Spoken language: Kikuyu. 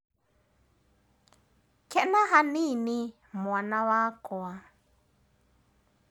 Kena hanini mwana wakwa.